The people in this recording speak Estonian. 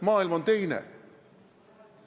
See siin on teine maailm.